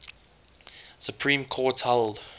supreme court held